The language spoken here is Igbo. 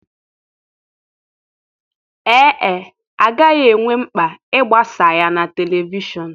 Ee e, a gaghị enwe mkpa ịgbasa ya na telivishọn.